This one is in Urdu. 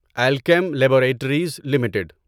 Alkem laboratories limited